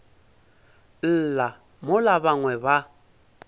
lla mola ba bangwe ba